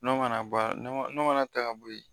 N'o mana bɔ n'o mana ta ka bɔ yen